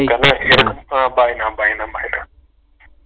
ஹம் bye னா bye னா bye னா